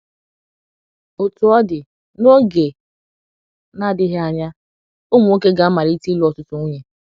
Otú ọ dị, n’oge na - adịghị anya, ụmụ nwoke ga amalitere ịlụ ọtụtụ nwunye.